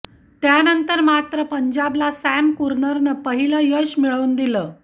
त्यानंतर मात्र पंजाबला सॅम कुरननं पहिलं यश मिळवून दिलं